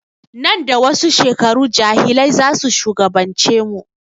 Nan da wasu shekaru jahilai zasu shugaban ce mu